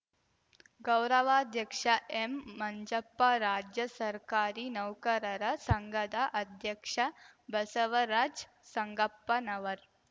ಗೌರವಾಧ್ಯಕ್ಷ ಎಂಮಂಜಪ್ಪ ರಾಜ್ಯ ಸರ್ಕಾರಿ ನೌಕರರ ಸಂಘದ ಅಧ್ಯಕ್ಷ ಬಸವರಾಜ್ ಸಂಗಪ್ಪನವರ್